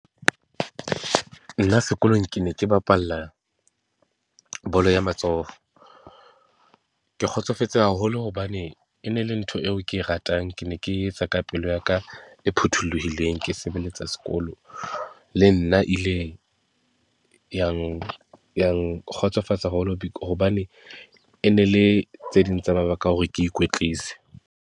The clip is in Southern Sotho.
Nna sekolong ke ne ke bapalla bolo ya matsoho, ke kgotsofetse haholo hobane e ne le ntho eo ke e ratang. Ke ne ke etsa ka pelo yaka e phuthuluhileng, ke sebeletsa sekolo le nna ile yang ya nkgotsofatsa haholo hobane e ne le tse ding tsa mabaka a hore ke ikwetlise.